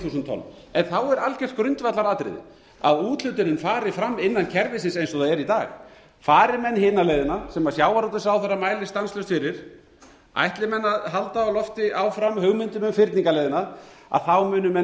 þúsund tonn en þá er algjört grundvallaratriði að úthlutunin fari fram innan kerfisins eins og það er í dag fari menn hina leiðina sem sjávarútvegsráðherra mælir stanslaust fyrir ætli menn að halda á lofti áfram hugmyndinni um fyrningarleiðina munu menn